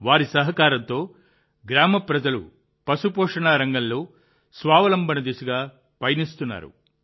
వారి సహకారంతో గ్రామ ప్రజలు పశుపోషణ రంగంలో స్వావలంబన దిశగా పయనిస్తున్నారు